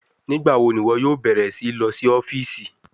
Nigbawo ni iwọ yoo bẹrẹ si lọ si ọfiisi?